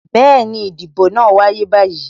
Bẹẹni, ìdìbò náà n wáyé báyìí